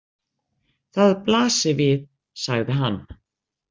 Það blasir við, sagði hann.